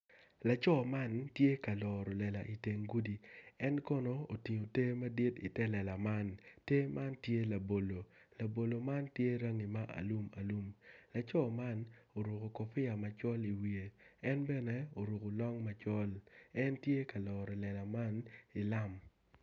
Man bongi ma kirukogi aruka i kom toi dok bongi man tye bongi gomci ki latere ma kitweyo i kome med ki koti ma kiruku ki kanyu kacel en tye ka loro lela man i lam.